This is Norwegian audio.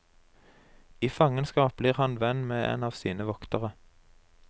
I fangenskap blir han venn med en av sine voktere.